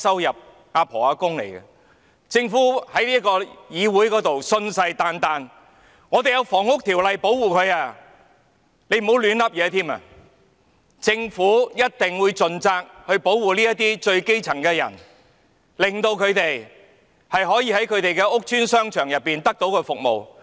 然而，政府在這個議會信誓旦旦指這些人士受《房屋條例》保護，叫大家不要亂說，又表示政府一定會盡責，保護這些基層人士，讓他們可以在其屋邨商場獲得服務。